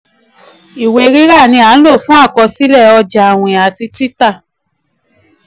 ìwé rira um nlo fún àkọsílẹ̀ ọjà àwìn ati tita.